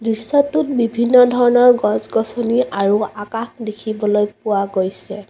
দৃশ্যটোত বিভিন্ন ধৰণৰ গছ-গছনি আৰু আকাশ দেখিবলৈ পোৱা গৈছে।